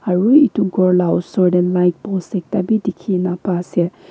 aro etu ghor la usor tey light post ekta beh dekhe kena ba ase.